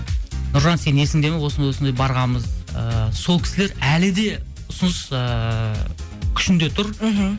нұржан сен есіңде ме осындай осындай барғанбыз ыыы сол кісілер әлі де ұсыныс ыыы күшінде тұр мхм